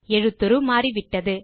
எழுத்துரு மாறிவிட்டது